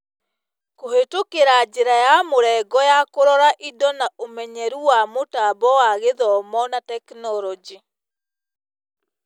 Kũhetũkĩra njĩra ya mũrengo ya kũrora indo na ũmenyeru wa mũtambo wa Gĩthomo na tekinoronjĩ.